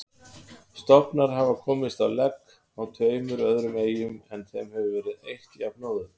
Stofnar hafa komist á legg á tveimur öðrum eyjum en þeim hefur verið eytt jafnóðum.